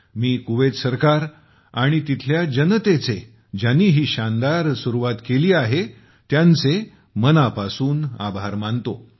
मी Kuwait सरकार आणि जनतेचे ज्यांनी ही शानदार सुरुवात केली आहे हा अप्रतिम पुढाकार घेतला आहे उपक्रम सुरु केला आहे त्यांचे मनापासून आभार मानतो